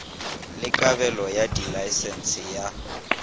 le kabelo ya dilaesense ya